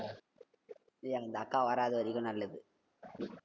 ஏய் அந்த அக்கா வராத வரைக்கு நல்லது